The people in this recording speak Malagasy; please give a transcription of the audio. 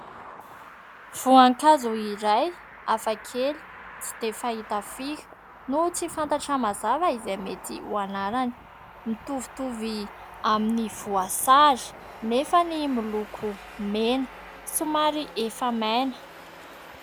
Voankazo iray hafakely tsy dia fahita firy no tsy fantatra mazava izay mety ho anarany. Mitovitovy amin'ny voasary nefa miloko mena somary efa maina.